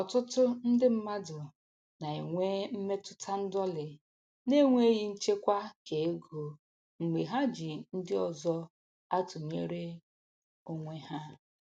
Ọtụtụ ndị mmadụ na-enwe mmetụta ndọlị n'enweghị nchekwa keego mgbe ha ji ndị ọzọ atụnyere onwe ha.